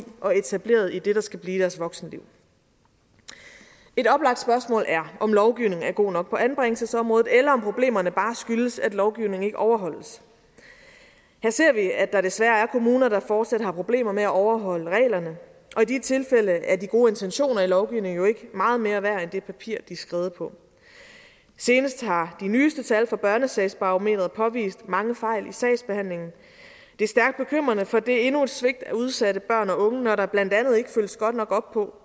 og etableret i det der skal blive deres voksenliv et oplagt spørgsmål er om lovgivningen er god nok på anbringelsesområdet eller om problemerne bare skyldes at lovgivningen ikke overholdes her ser vi at der desværre er kommuner der fortsat har problemer med at overholde reglerne og i de tilfælde er de gode intentioner i lovgivningen jo ikke meget mere værd end det papir de er skrevet på senest har de nyeste tal fra børnesagsbarometeret påvist mange fejl i sagsbehandlingen det er stærkt bekymrende for det er endnu et svigt af udsatte børn og unge når der blandt andet ikke følges godt nok op på